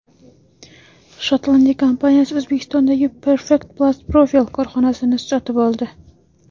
Shotlandiya kompaniyasi O‘zbekistondagi Perfect Plast Profil korxonasini sotib oldi.